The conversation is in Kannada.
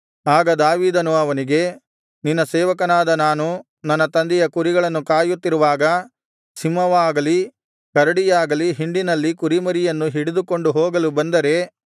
ಆಗ ದಾವೀದನು ಅವನಿಗೆ ನಿನ್ನ ಸೇವಕನಾದ ನಾನು ನನ್ನ ತಂದೆಯ ಕುರಿಗಳನ್ನು ಕಾಯುತ್ತಿರುವಾಗ ಸಿಂಹವಾಗಲಿ ಕರಡಿಯಾಗಲಿ ಹಿಂಡಿನಲ್ಲಿನ ಕುರಿಮರಿಯನ್ನು ಹಿಡಿದುಕೊಂಡು ಹೋಗಲು ಬಂದರೆ